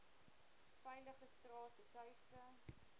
veilige strate tuiste